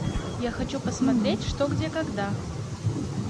я хочу посмотреть что где когда